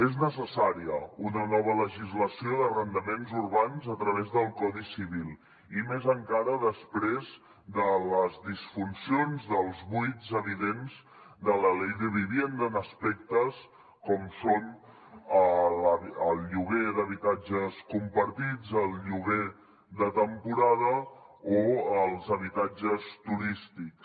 és necessària una nova legislació d’arrendaments urbans a través del codi civil i més encara després de les disfuncions dels buits evidents de la ley de vivienda en aspectes com són el lloguer d’habitatges compartits el lloguer de temporada o els habitatges turístics